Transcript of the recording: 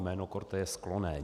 Jméno Korte je sklonné.